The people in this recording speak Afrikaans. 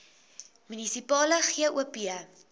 munisipale gop